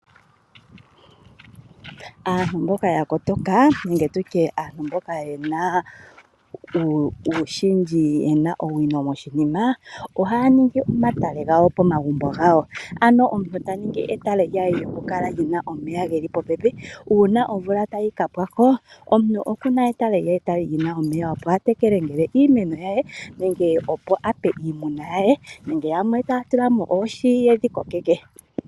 Aantu mboka ya kotoka nenge tu tye aantu mboka ye na owino moshinima ohaya ningi omatale gawo pomagumbo gawo, ano omuntu ta ningi etale lye lyokukala li na omeya ge li popepi, uuna omvula tayi ka pwa ko omuntu oku na etale lye li na omeya, opo a tekele iimeno ye nenge opo a pe iimuna ye , nenge yamwe taya tula mo oohi ye dhi kokeke.